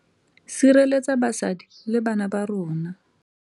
Sireletsa basadi le bana ba rona.